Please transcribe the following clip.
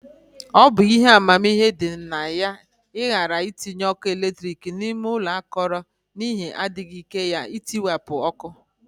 Ọ bụ ihe amamihe dị na ya ịghara itinye ọkụ eletrik n'ime ụlọ akọrọ, n'ihi adịghị ike ya na ntiwapụ ọkụ